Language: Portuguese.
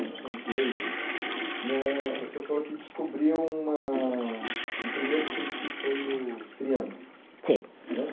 Como somos leigos, né. O senhor falou que descobriu uma, um primeiro símbolo, que foi o triângulo. Sim. Né.